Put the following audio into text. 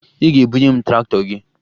Ị ga-ebunye m traktọ gị!